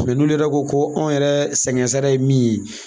n'olu yɛrɛ ko ko anw yɛrɛ sɛgɛn sara ye min ye.